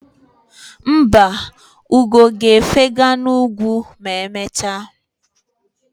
Mba, ugo ga-efega n'ugwu ma emechaa.